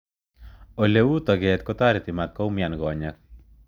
Ole uu toket kotareti matkoumian konyek.